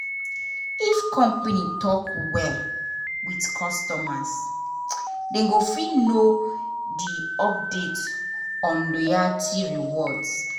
if company dey talk well with customers dem go fit know the update on loyalty rewards